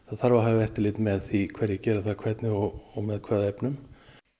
þarf að hafa eftirlit með því hverjir gera það og hvernig og með hvaða efnum